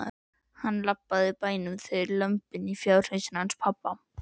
Hann, lambið í bænum, þau lömbin í fjárhúsunum hans pabba.